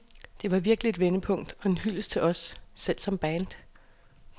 Det var virkelig et vendepunkt og en hyldest til os selv som band.